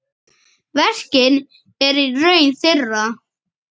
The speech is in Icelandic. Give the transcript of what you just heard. Verkið er í raun þeirra.